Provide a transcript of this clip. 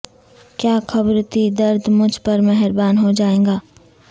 کیا خبر تھی درد مجھ پر مہرباں ہو جائے گا